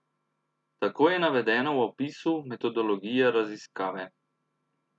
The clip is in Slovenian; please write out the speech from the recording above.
Tako je navedeno v opisu metodologije raziskave.